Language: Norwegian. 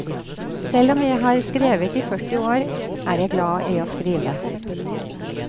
Selv om jeg har skrevet i førti år, er jeg glad i å skrive.